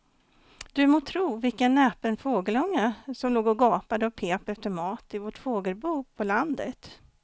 Du må tro vilken näpen fågelunge som låg och gapade och pep efter mat i vårt fågelbo på landet.